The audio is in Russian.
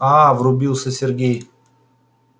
аа врубился сергей